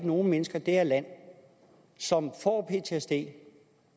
nogle mennesker i det her land som får ptsd